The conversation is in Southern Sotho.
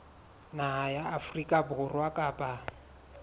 naha ya afrika borwa kapa